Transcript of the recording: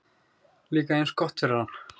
Líka eins gott fyrir hann.